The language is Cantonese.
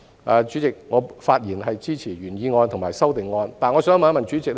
代理主席，我發言支持原議案及修正案。